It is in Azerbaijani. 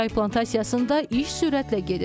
Çay plantasiyasında iş sürətlə gedir.